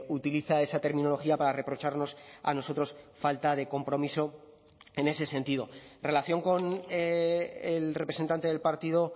utiliza esa terminología para reprocharnos a nosotros falta de compromiso en ese sentido en relación con el representante del partido